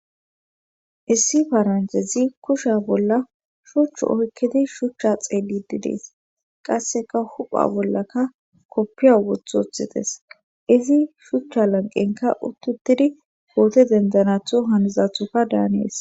Issi faranjezi kusha bolla shuchchu oykkidi shuchcha xeelididees qasseka hupha bollaka koppiya wothu woththites izi shuchcha lanqenka uttutidi goote dendanatho hanizathoka daaneeS.